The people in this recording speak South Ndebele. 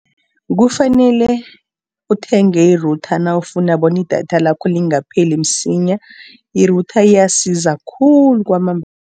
Kufanele uthenge i-Router nawufuna bona idatha lakho lingapheli msinya. I-Router iyasiza khulu kwamambala.